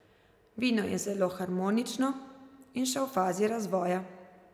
Vino je zelo harmonično in še v fazi razvoja.